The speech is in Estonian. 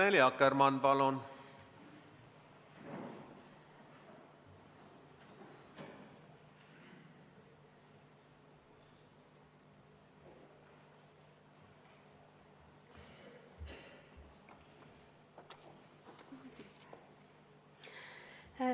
Annely Akkermann, palun!